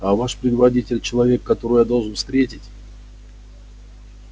а ваш предводитель человек которого я должен встретить